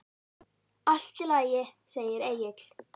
Allt í lagi, segir Egill.